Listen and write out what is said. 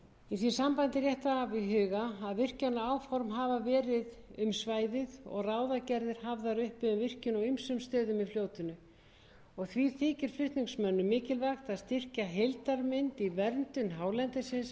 í því sambandi er rétt að hafa í huga að virkjanaáform hafa verið um svæðið og ráðagerðir hafðar uppi um virkjun á ýmsum stöðum í fljótinu og því þykir flutningsmönnum mikilvægt að styrkja heildarmynd í verndun hálendisins